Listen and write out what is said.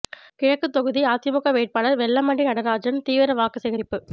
கிழக்கு தொகுதி அதிமுக வேட்பாளர் வெல்லமண்டி நடராஜன் தீவிர வாக்கு சேகாிப்பு